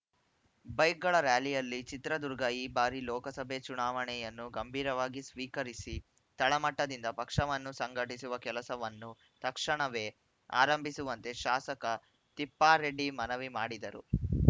ಬೈಕ್‌ಗಳ rally Chitradurga ಈ ಬಾರಿಯ ಲೋಕಸಭೆ ಚುನಾವಣೆಯನ್ನು ಗಂಭೀರವಾಗಿ ಸ್ವೀಕರಿಸಿ ತಳಮಟ್ಟದಿಂದ ಪಕ್ಷವನ್ನು ಸಂಘಟಿಸುವ ಕೆಲಸವನ್ನು ತಕ್ಷಣವೇ ಆರಂಭಿಸುವಂತೆ ಶಾಸಕ ತಿಪ್ಪಾರೆಡ್ಡಿ ಮನವಿ ಮಾಡಿದರು